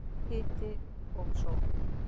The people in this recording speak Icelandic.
Hiti og sól.